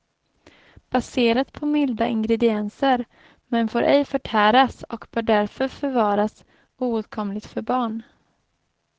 Baserat på milda ingredienser, men får ej förtäras och bör därför förvaras oåtkomligt för barn.